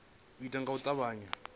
u itwa nga u tavhanya